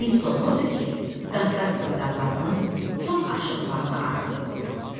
Hiss olunurdu ki, Qafqaz sıra dağlarının son aşırımlarını arxada qoyuruq.